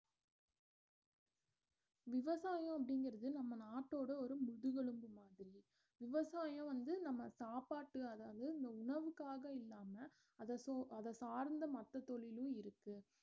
விவசாயம் அப்படிங்கறது நம்ம நாட்டோட ஒரு முதுகெலும்பு மாதிரி விவசாயம் வந்து நம்ம சாப்பாட்டு அதாவது இந்த உணவுக்காக இல்லாம அத சு~ சார்ந்த மத்த தொழிலும் இருக்கு